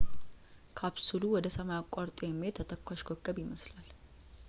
ካፕሱሉ ወደ ሰማይ አቋርጦ የሚሄድ ተተኳሽ ኮከብ ይመስላል